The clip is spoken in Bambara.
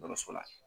Dɔkɔtɔrɔso la